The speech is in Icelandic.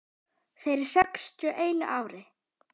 Fyrir sextíu og einu ári.